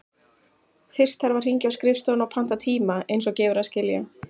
Fyrst þarf að hringja á skrifstofuna og panta tíma, eins og gefur að skilja.